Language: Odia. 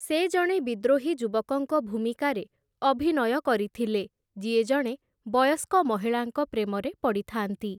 ସେ ଜଣେ ବିଦ୍ରୋହୀ ଯୁବକଙ୍କ ଭୂମିକାରେ ଅଭିନୟ କରିଥିଲେ, ଯିଏ ଜଣେ ବୟସ୍କ ମହିଳାଙ୍କ ପ୍ରେମରେ ପଡ଼ିଥାନ୍ତି ।